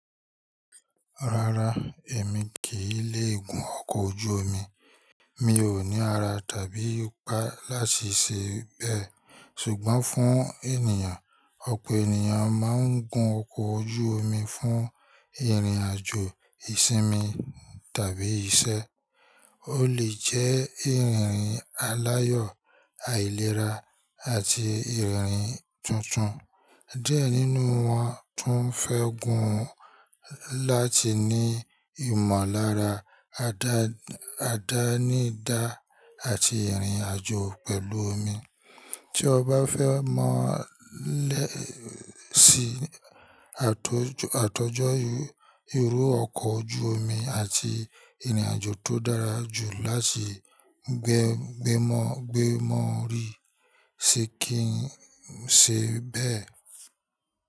Rárá, èmi kì í lé gún ọkọ̀ ojú omi. Mi ò ní ara tàbí ipa láti ṣe bẹ́ẹ̀. Ṣùgbọ́n fún ènìyàn, ọ̀pọ̀ ènìyàn máa ń gun ọkọ̀ ojú omi fún ìrìn-àjò ìsinmi tàbí iṣẹ́. Ó lè jẹ́ ìrìn aláyọ̀, àìlera, àti ìrìn tuntun. Diẹ nínú wọn tún fẹ́ gun láti ní ìmọ̀lára, àdánidá, àti ìrìn-àjò pẹ̀lú omi. Tí o bá fẹ́ mọ̀ lẹ́ẹ̀ sí àtọ̀jọ́ irú ọkọ̀ ojú omi àti ìrìn-àjò tó dára jù láti gbémọ̀ri, ṣe kí ń ṣe bẹ́ẹ̀?